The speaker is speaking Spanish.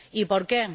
Y ¿por qué?